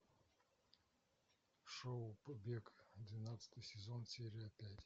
шоу побег двенадцатый сезон серия пять